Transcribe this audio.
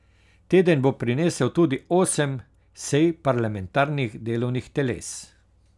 Teden bo prinesel tudi osem sej parlamentarnih delovnih teles.